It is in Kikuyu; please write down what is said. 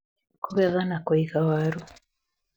Kũgetha na kũiga waru